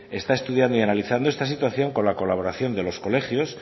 está estudiando y analizando esta situación con la colaboración de los colegios